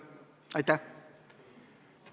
Aitäh!